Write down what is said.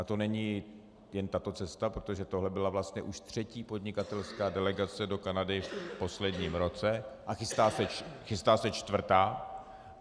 A to není jen tato cesta, protože tohle byla vlastně už třetí podnikatelská delegace do Kanady v posledním roce a chystá se čtvrtá.